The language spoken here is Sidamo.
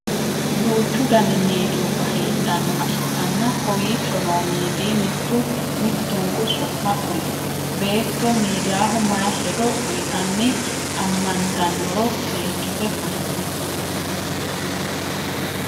Duuchu Danni miidiyubba heedhanoha ikanna kowiicho noo miidi mitu mitunku su'ma kuli? Beetto miidayaho mayi hedo uyitanni amantanoro seekite kuli?